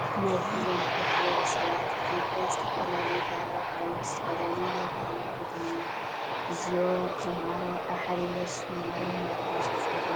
ናይ ኩሎም ብሄርን ብሄረሰባት ኢ/ያ ዝተፈላለየ ባህላዊ ክዳውንቲ ዝተኸደኑ ናይ ባህሊ ቡድን እዮም፡፡ እዚኦ ተምሃሮ ኣብ ሓደ ዩኒቨርስቲ ዝማሃሩ ናይ ባህሊ ክፍሊ ዶ ይኾኑ?